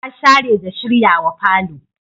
Ta share da shiryawa falo.